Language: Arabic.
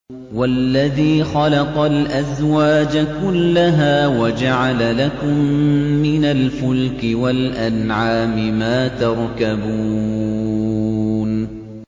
وَالَّذِي خَلَقَ الْأَزْوَاجَ كُلَّهَا وَجَعَلَ لَكُم مِّنَ الْفُلْكِ وَالْأَنْعَامِ مَا تَرْكَبُونَ